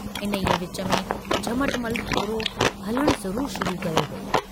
इन्हीअ विच में झमटमल थोरो हलणु ज़रूरु शुरु कयो हो।